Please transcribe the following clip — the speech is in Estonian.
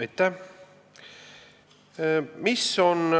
Aitäh!